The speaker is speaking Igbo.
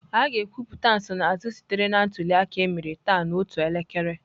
A ga-ekwupụta nsonaazụ sitere na ntuli aka emere taa n'otu elekere.